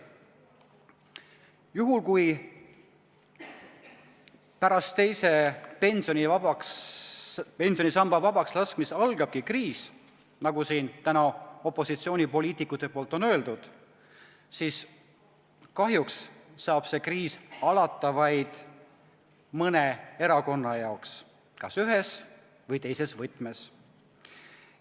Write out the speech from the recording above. Juhul, kui pärast teise pensionisamba vabakslaskmist algabki kriis, nagu opositsioonipoliitikud on siin täna öelnud, siis kahjuks saab see kriis alata vaid mõne erakonna jaoks – kas ühes või teises võtmes.